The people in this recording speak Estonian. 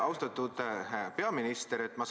Austatud peaminister!